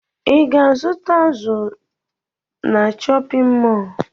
Ị ga-azụta azụ na chọpịn mọọlụ?